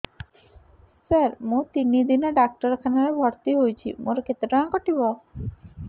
ସାର ମୁ ତିନି ଦିନ ଡାକ୍ତରଖାନା ରେ ଭର୍ତି ହେଇଛି ମୋର କେତେ ଟଙ୍କା କଟିବ